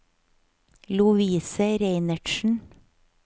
Lovise Reinertsen